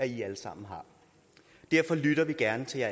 i alle sammen har derfor lytter vi gerne til